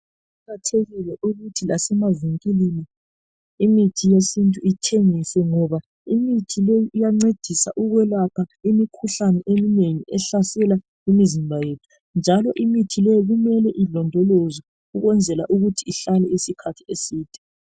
Kuqakathekile ukuthi lasemavinkilini imithi yesintu ithengiswe, ngoba imithi leyi iyancedisa ukwelapha imikhuhlane eminengi ehlasela imizimba yethu. Njalo imithi leyi kumele ilondolozwe ukwenzela ukuthi ihlale isikhathi eside.